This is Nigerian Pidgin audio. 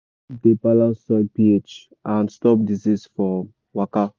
manure dey balance soil ph and stop disease from waka.